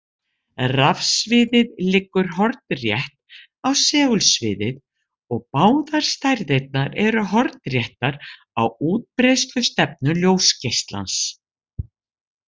Rafsviðið liggur hornrétt á segulsviðið og báðar stærðirnar eru hornréttar á útbreiðslustefnu ljósgeislans.